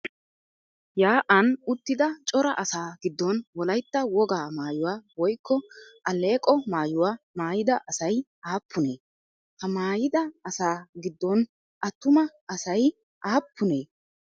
Yaa'an uttida cora asaa giddon Wolaytta wogaa maayuwaa woykko alleeqo maayuwaa maayida asayi aappunee? Ha maayida asaa giddon attuma asayi aappunee?